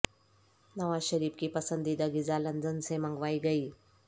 نواز شریف کی پسندیدہ غذا لندن سے منگو ا ئی گئی